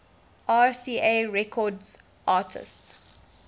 rca records artists